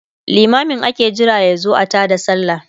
limamin ake Jira yazo a taada sallah